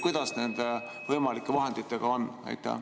Kuidas nende võimalike vahenditega on?